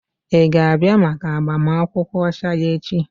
Ị ga-abịa maka agbamakwụkwọ ọcha ya echi?